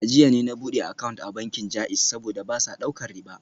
A jiya ne na bude account a bankin JAIZ, saboda ba sa daukar riba